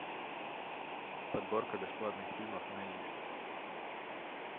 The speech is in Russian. подборка бесплатных фильмов на иви